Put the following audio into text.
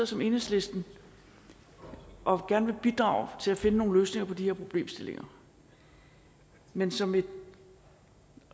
som enhedslisten og gerne vil bidrage til at finde nogle løsninger på de her problemstillinger men som et